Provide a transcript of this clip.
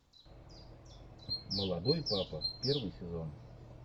молодой папа первый сезон